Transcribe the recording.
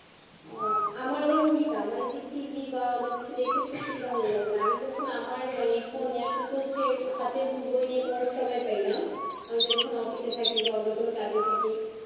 ওহআমার আবার উল্টা এইযে TV বা অন্য কিছু দেখতে সত্যিই আমি যখন আমার মানে phone এখন তো হচ্ছে হাতে book বই নিয়ে পড়ার সময় পাইনা আমি যতক্ষণ office এ থাকি বা অন্য কোনো কাজে থাকি